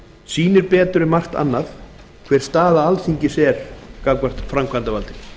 sýnir betur en margt annað hver staða alþingis er gagnvart framkvæmdarvaldinu